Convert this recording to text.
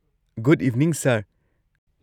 Good evening, sir!